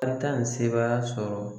An ta ni sebaaya sɔrɔ